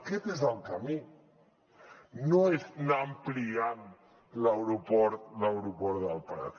aquest és el camí no és anar ampliant l’aeroport del prat